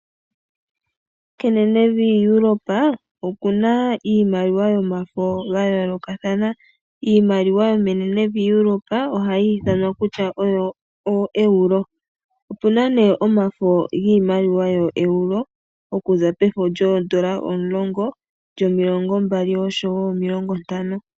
Kenenevi Europe okuna iimaliwa yamafo ya yoolokathana . Iimaliwa yomenenevi lyaEurope ohayi ithanwa ooEuro . Opuna omafo giimaliwa yoEuro okuza pooEuro 10, ooEuro 20 oshowoo ooEuro50.